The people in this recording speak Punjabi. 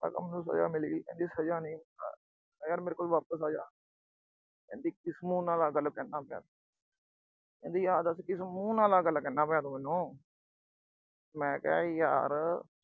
ਮੈਂ ਕਿਹਾ ਮੈਨੂੰ ਸਜ਼ਾ ਮਿਲਗੀ। ਕਹਿੰਦੀ ਸਜ਼ਾ ਨੀ। ਮੈਂ ਕਿਹਾ ਮੇਰੇ ਕੋਲ ਵਾਪਸ ਆ ਜਾ। ਕਹਿੰਦੀ ਕਿਸ ਮੂੰਹ ਨਾਲ ਆਹ ਗੱਲ ਕਹਿੰਦਾ ਪਿਆ ਤੂੰ। ਕਹਿੰਦੀ ਆਹ ਦੱਸ ਕਿਸ ਮੂੰਹ ਨਾਲ ਆਹ ਗੱਲ ਕਹਿੰਦਾ ਪਿਆ ਤੂੰ ਮੈਨੂੰ। ਮੈਂ ਕਿਹਾ ਯਾਰ।